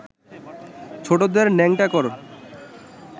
ছোটদের ন্যাংটো কর